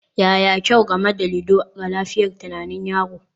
Yaya kyau game da ludo ga lafiyar tunanin yaro?